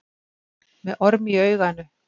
Með orm í auganu